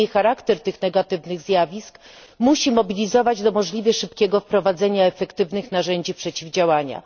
Niemniej charakter tych negatywnych zjawisk musi mobilizować do możliwie szybkiego wprowadzenia efektywnych narzędzi przeciwdziałania.